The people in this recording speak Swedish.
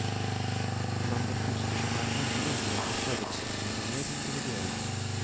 Bland de foster som är ännu yngre är förutsättningarna mer individuella.